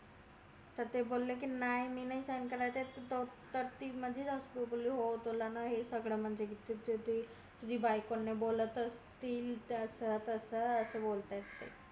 तर ते बोले कि नाय मी नाय sign करणार तर मध्ये च माझी सासू बोली हो तुला हे सगळं म्हणजे तुझी बायको ने बोलत असेल यांच्या बद्दल असं बोलतायत ते